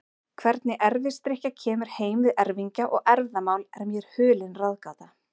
Hvernig erfisdrykkja kemur heim við erfingja og erfðamál er mér hulin ráðgáta.